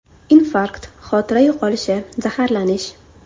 Infarkt, xotira yo‘qolishi, zaharlanish.